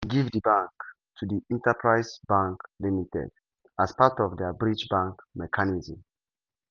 cbn bin give di bank to di enterprise bank limited as part of dia bridge bank mechanism.